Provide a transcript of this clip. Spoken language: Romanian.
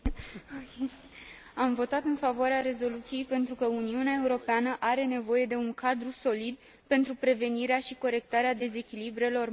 Am votat în favoarea rezoluției, pentru că Uniunea Europeană are nevoie de un cadru solid pentru prevenirea și corectarea dezechilibrelor macroeconomice.